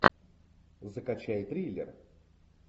закачай триллер